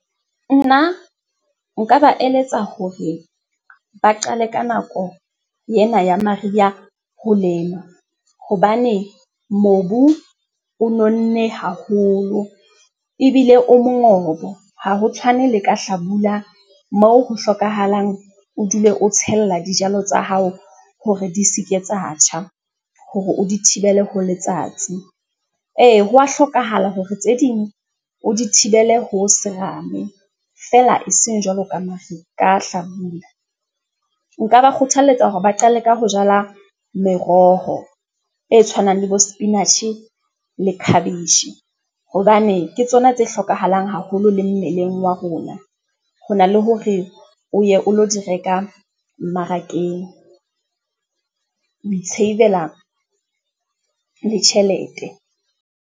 Nna nka ba eletsa hore ba qale ka nako yena ya mariha ho lema hobane mobu o nonne haholo ebile o mongobo ha ho tshwane le ka hlabula mo ho hlokahalang o dule o tshella dijalo tsa hao hore di se ke tsa tjha hore o di thibele ho letsatsi. Ee, hwa hlokahala hore tse ding o di thibele ho serame fela e seng jwalo ka ka hlabula. Nka ba kgothaletsa hore ba qale ka ho jala meroho e tshwanang le bo spinach le khabetjhe hobane ke tsona tse hlokahalang haholo le mmeleng wa rona. Ho na le hore o ye o lo di reka mmarakeng, o i-save-la le tjhelete.